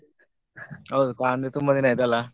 ಹೌದು ಕಾಣದೆ ತುಂಬ ದಿನ ಆಯ್ತಲ್ಲ.